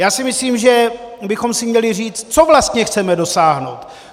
Já si myslím, že bychom si měli říct, čeho vlastně chceme dosáhnout!